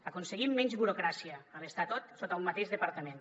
aconseguim menys burocràcia a l’estar tot sota un mateix departament